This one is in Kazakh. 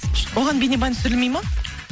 оған бейнебаян түсірілмейді ма